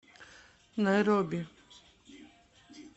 найроби